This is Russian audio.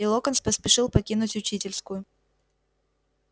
и локонс поспешил покинуть учительскую